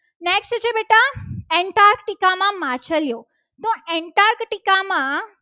એમાં માછલીઓ તો aentartica માં